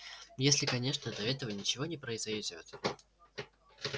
если конечно до этого ничего не произойдёт